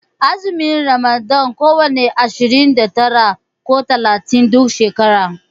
Azumin ramadana kwana ashirin da tara ne ko talatin duk shekara.